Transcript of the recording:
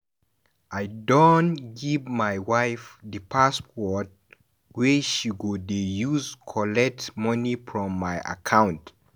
I don give my wife di password wey she go dey use collect moni from my account.